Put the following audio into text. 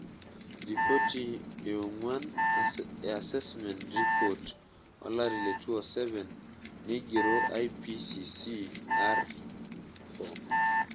Ripoti e ongwan e Assessment Report olari le 2007 naigero IPCC[AR4].